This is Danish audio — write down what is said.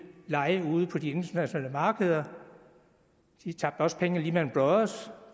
lege ude på de internationale markeder de tabte også penge hos lehman brothers